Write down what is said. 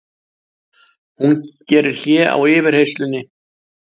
Hún gerir hlé á yfirheyrslunni.